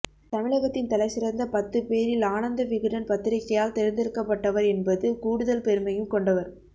தமிழகத்தின் தலைசிறந்த பத்துப் பேரில் ஆனந்த விகடன் பத்திரிக்கையால் தேர்ந்தெடுக்கப் பட்டவர் என்பது கூடுதல் பெருமையும் கொண்டவர்